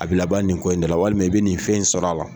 A bɛ laban nin ko in de la, walima i bɛ nin fɛn in sɔrɔ a la.